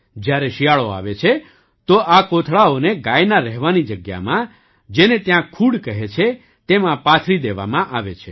જ્યારે શિયાળો આવે છે તો આ કોથળાઓને ગાયના રહેવાની જગ્યામાં જેને ત્યાં ખૂડ કહે છે તેમાં પાથરી દેવામાં આવે છે